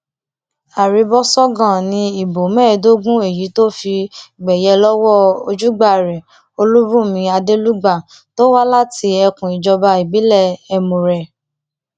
arìbọṣọgàn ni ìbò mẹẹẹdógún èyí tó fi gbẹyẹ lọwọ ojúgbà rẹ olùbùnmi adelugba tó wá láti ẹkùn ìjọba ìbílẹ ẹmùrè